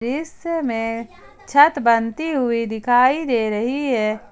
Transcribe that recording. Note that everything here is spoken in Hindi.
इस में छत बनती हुई दिखाई दे रही है।